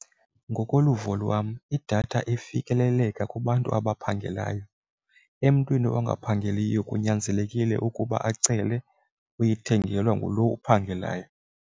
Ngokoluvo lwam idatha ifikeleleka kubantu abaphangelayo, emntwini ongaphangeliyo kunyanzelekile ukuba acele uyithengelwa ngulo uphangelayo.